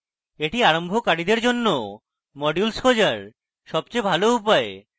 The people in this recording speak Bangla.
এটি আরম্ভকারীদের জন্য modules খোঁজার সবচেয়ে ভাল উপায়